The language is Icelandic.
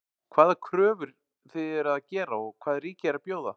Hvaða kröfur þið eruð að gera og hvað ríkið er að bjóða?